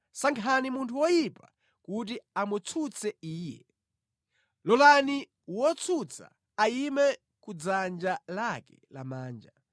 Sankhani munthu woyipa kuti amutsutse iye; lolani wotsutsa ayime ku dzanja lake lamanja.